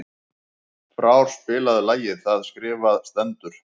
Frár, spilaðu lagið „Það skrifað stendur“.